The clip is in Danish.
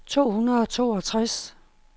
to hundrede og toogtres